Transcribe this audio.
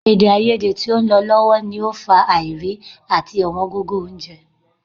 Èdèàìyedè tó ń lọ lọ́wọ́ lọ fà á àìrí àti ọ̀wọ́n gógó oúnjẹ